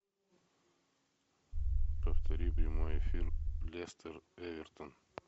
повтори прямой эфир лестер эвертон